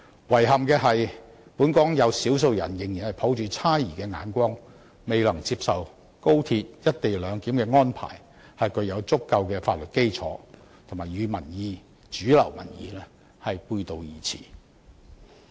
遺憾的是本港有少數人仍然抱着猜疑的眼光，未能接受高鐵"一地兩檢"安排是具有足夠法律基礎，與主流民意背道而馳。